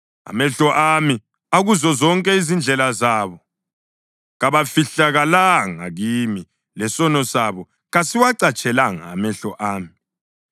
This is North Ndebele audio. Amehlo ami akuzo zonke izindlela zabo; kabafihlakalanga kimi, lesono sabo kasiwacatshelanga amehlo ami.